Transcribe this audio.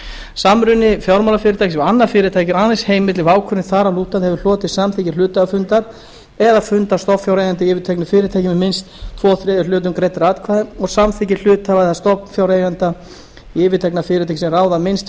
samruni fjármálafyrirtækis við annað fyrirtæki er aðeins heimill ef ákvörðun þar að lútandi hefur hlotið samþykki hluthafafundar eða fundar stofnfjáreigenda í yfirtekna fyrirtækinu með minnst tveir þriðju hlutum greiddra atkvæða og samþykki hluthafa eða stofnfjáreigenda í yfirtekna fyrirtækinu sem ráða yfir minnst